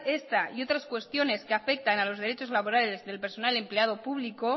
esta y otras cuestiones que afectan a los derechos laborales del personal empleado público